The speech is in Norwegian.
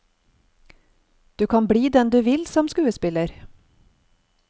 Du kan bli den du vil som en skuespiller.